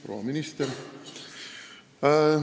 Proua minister!